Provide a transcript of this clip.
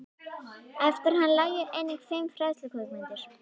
Eftir hann lægju einnig fimm fræðslukvikmyndir.